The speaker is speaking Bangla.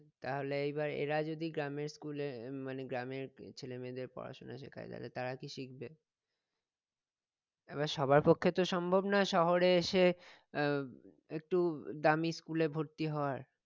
তাহলে এইবার এরা যদি গ্রামের school এ আহ মানে গ্রামের ছেলে মেয়েদের পড়াশোনা শেখায় তাহলে তারা কি শিখবে? এবার সবার পক্ষে তো সম্ভব না শহরে এসে আহ একটু দামি school এ ভর্তি হওয়ার